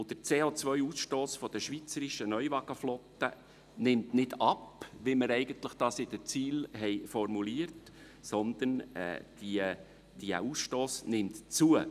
Zudem nimmt der CO-Ausstoss der schweizerischen Neuwagenflotte nicht ab, wie wir es eigentlich in den Zielen formuliert haben, nimmt dieser Ausstoss zu.